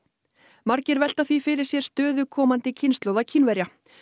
margir velta því fyrir sér stöðu komandi kynslóða Kínverja